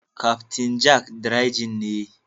Captain Jack dry gin ne.